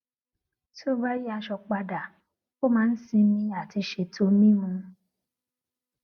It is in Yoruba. tí ó bá yí aṣọ padà ó máa n sinmi àti ṣètò mímu